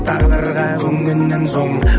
тағдырға көнгеннен соң